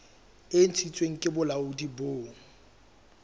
e ntshitsweng ke bolaodi bo